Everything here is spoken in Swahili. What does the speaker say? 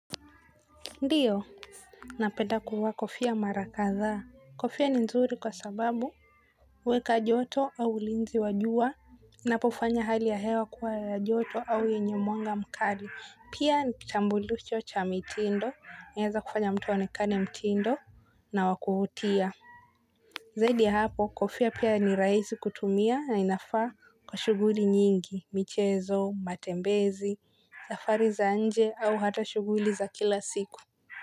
Ndiyo napenda kuvaa kofia mara kadhaa kofia ni nzuri kwa sababu huweka joto au ulinzi wa jua inapofanya hali ya hewa kuwa ya joto au yenye mwanga mkali, pia ni chambulicho cha mitindo inaeza kufanya mtu aonekane mtindo na wa kuvutia zaidi ya hapo, kofia pia ni rahisi kutumia na inafaa kwa shughuli nyingi michezo matembezi safari za nje au hata shughuli za kila siku.